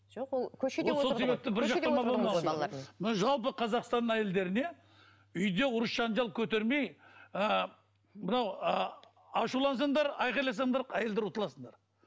жоқ ол мына жалпы қазақстан әйелдеріне үйде ұрыс жанжал көтермей ы мынау ы ашулансаңдар айқайласаңдар әйелдер ұтыласындар